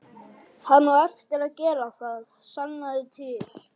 Hann á eftir að gera það, sannaðu til.